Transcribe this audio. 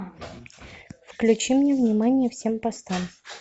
включи мне внимание всем постам